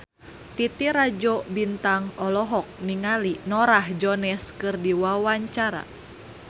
Titi Rajo Bintang olohok ningali Norah Jones keur diwawancara